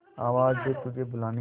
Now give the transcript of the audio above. आवाज दे तुझे बुलाने